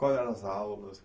Quais eram as aulas?